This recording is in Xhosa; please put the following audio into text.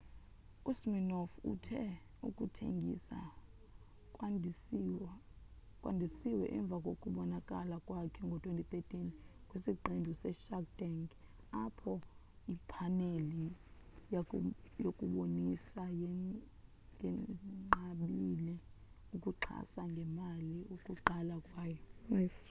usiminoff uthe ukuthengisa kwandisiwe emva kokubonakala kwakhe ngo-2013 kwisiqendu seshark tank apho iphaneli yokubonisa yenqabile ukuxhasa ngemali ukuqala kwayo